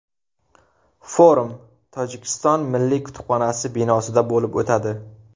Forum Tojikiston milliy kutubxonasi binosida bo‘lib o‘tadi.